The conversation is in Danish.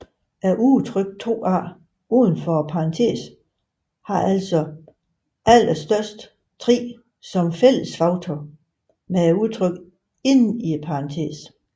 Udtrykket 2a udenfor parentesen har altså allerhøjest 3 som fællesfaktor med udtrykket inden i parentesen